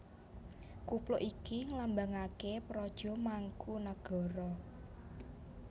Kupluk iki nglambangaké praja Mangkunagara